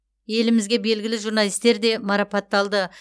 елімізге белгілі журналистер де марапатталды